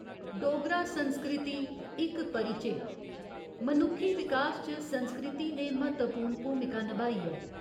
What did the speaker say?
डोगरा संस्कृति, इक परिचे मनुक्खी विकास च संस्कृति ने म्हत्तवपूर्ण भूमिका नभाई ऐ।